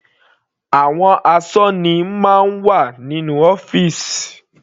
Àwọn asọ́ní máa ń wà nínú ọ́fìsì.